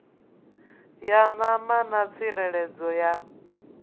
ya ṋama na tsireledzo ya